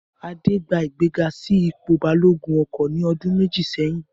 Adé gba ìgbéga sí ipò balógun ọkọ̀ ní ọdún méjì sẹ́yìn